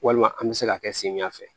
Walima an bɛ se ka kɛ samiya fɛ